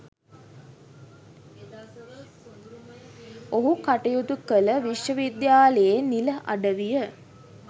ඔහු කටයුතු කල විශ්වවිද්‍යාලයේ නිල අඩවිය.